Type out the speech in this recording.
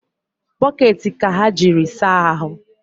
Bokeeti ka ha jiri saahụ